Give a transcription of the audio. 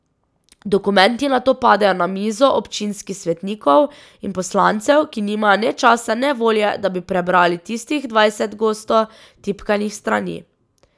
Dokumenti nato padejo na mizo občinskih svetnikov in poslancev, ki nimajo ne časa ne volje, da bi prebrali tistih dvajset gosto tipkanih strani.